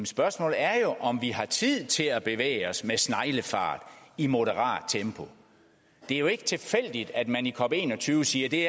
spørgsmålet er jo om vi har tid til at bevæge os med sneglefart i moderat tempo det er jo ikke tilfældigt at man i cop21 siger at det